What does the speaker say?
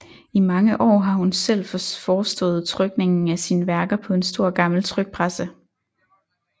I mange år har hun selv forestået trykningen af sine værker på en stor gammel trykpresse